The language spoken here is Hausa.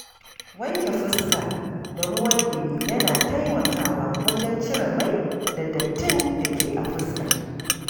Wanke fuska da ruwan ɗumi yana taimakawa wajen cire mai da dattin da ke a fuska.